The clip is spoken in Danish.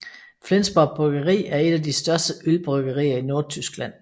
Flensborg Bryggeri er et af de største ølbryggerier i Nordtyskland